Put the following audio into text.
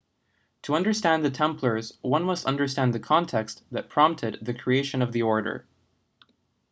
to understand the templars one must understand the context that prompted the creation of the order